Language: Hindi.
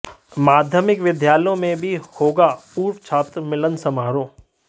माध्यमिक विद्यालयों में भी होगा पूर्व छात्र मिलन समारोह